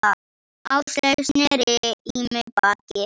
Áslaug sneri í mig baki.